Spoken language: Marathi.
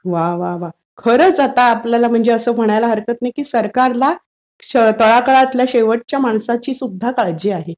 वा. वा. खरंच आता आपल्याला असं म्हणायला हरकत नाही की सरकारला तळागाळातल्या शेवटच्या माणसाची सुद्धा काळजी आहे.